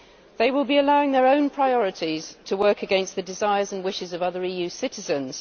They will be allowing their own priorities to work against the desires and wishes of other EU citizens.